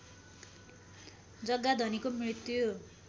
जग्गा धनीको मृत्यु